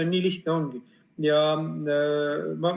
Nii lihtne see ongi.